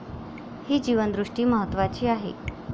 ही जीवनदृष्टी महत्वाची आहे.